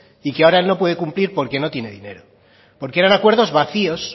y que ahora él no puede cumplir porque no tienen dinero porque eran acuerdos vacíos